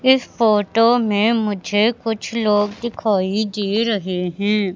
इस फोटो में मुझे कुछ लोग दिखाई दे रहे हैं।